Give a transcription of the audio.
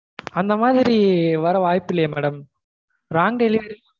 ஆஹ் இல்ல madam அந்த மா அந்த மாதிரி வர வாய்ப்பில்லயே madam wrong delivery